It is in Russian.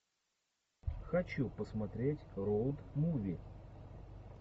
хочу посмотреть роуд муви